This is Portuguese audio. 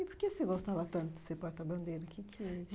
E por que você gostava tanto de ser porta-bandeira? O que é que